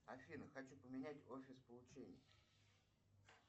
афина хочу поменять офис получения